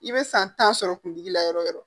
I bɛ san tan sɔrɔ kun digi la yɔrɔ o yɔrɔ